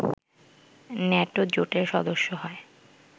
NATO জোটের সদস্য হয়